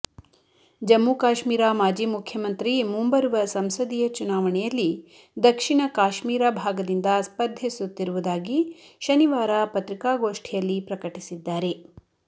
ಜಮ್ಮು ಕಾಶ್ಮೀರ ಮಾಜಿ ಮುಖ್ಯಮಂತ್ರಿ ಮುಂಬರುವ ಸಂಸದೀಯ ಚುನಾವಣೆಯಲ್ಲಿ ದಕ್ಷಿಣ ಕಾಶ್ಮೀರ ಭಾಗದಿಂದ ಸ್ಪರ್ಧಿಸುತ್ತಿರುವುದಾಗಿ ಶನಿವಾರ ಪತ್ರಿಕಾಗೋಷ್ಠಿಯಲ್ಲಿ ಪ್ರಕಟಿಸಿದ್ದಾರೆ